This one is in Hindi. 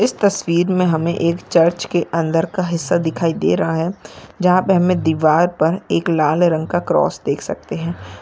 इस तस्वीर मे हमे एक चर्च के अंदर का हिस्सा दिखाई दे रहा है जहा पे हमे दीवार पर एक लाल रंग का क्रॉस देख सखते है।